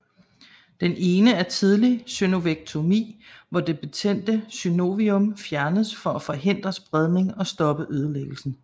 Den ene er tidligt synovektomi hvor det betændte synovium fjernes for at forhindre spredning og stoppe ødelæggelsen